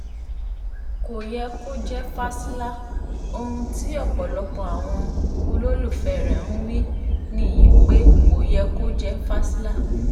kò yẹ kó jẹ́ fásilà ohun tí ọ̀pọ̀lọpọ̀ àwọn olólùfẹ́ rẹ̀ ń wí nìyí pé kò yẹ kó jẹ́ fásilà